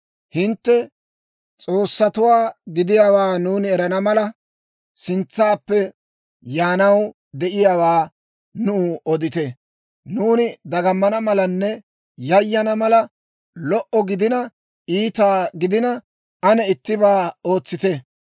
Hintte s'oossatuwaa gidiyaawaa nuuni erana mala, sintsaappe yaanaw de'iyaawaa nuw odite. Nuuni dagamana malanne yayana mala, lo"o gidina iita gidina, ane ittibaa ootsite.